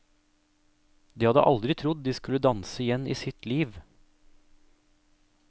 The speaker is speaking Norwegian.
De hadde aldri trodd de skulle danse igjen i sitt liv.